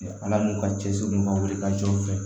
Ala n'u ka cɛsiri ka wuli ka jɔ u fɛ